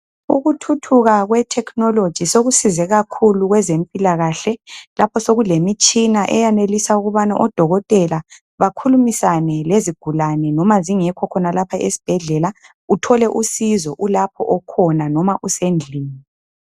Ukuthuthuka kwethekhinoloji sekusize kakhulu kwezempilakahle lapho sokulemitshina eyanelisa ukubana odokotela bakhulumisane lezigulani loba zingekho khonalapha esibhedlela uthole usizo ulapho okhona noma usendlini.